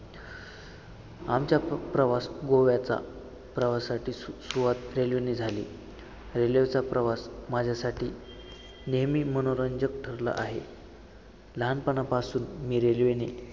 आमच्या प्र~ प्रवास गोव्याचा प्रवासाची सु~ सुरुवात railway ने झाली. railway चा प्रवास माझ्यासाठी नेहमी मनोरंजक ठरला आहे. लहानपणापासून मी railway नी